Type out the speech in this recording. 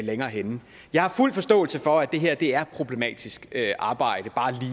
længere henne jeg har fuld forståelse for at det her er et problematisk arbejde bare